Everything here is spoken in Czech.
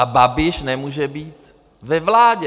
A Babiš nemůže být ve vládě.